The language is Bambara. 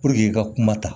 i ka kuma ta